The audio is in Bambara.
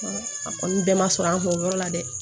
A kɔni bɛɛ ma sɔrɔ an fɛ o yɔrɔ la dɛ